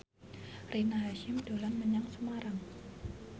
Rina Hasyim dolan menyang Semarang